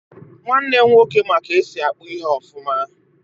Nwannem nwoke ma ka esi akpụ ihe ofuma.